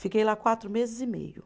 Fiquei lá quatro meses e meio.